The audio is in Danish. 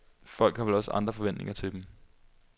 Folk har vel også andre forventninger til dem.